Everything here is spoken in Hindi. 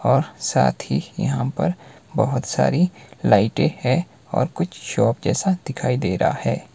और साथ ही यहां पर बहुत सारी लाइटें है और कुछ शॉप जैसा दिखाई दे रहा है।